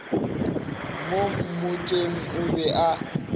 mo motseng o be a